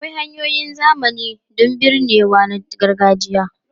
Akwai hanyoyin zamani don binnewa na gargajiya.